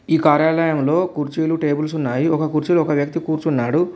ఈ కార్యాలయంలో కుర్చీలు టేబుల్స్ ఉన్నాయి ఒక కుర్చీలో ఒక వ్యక్తి కూర్చున్నాడు.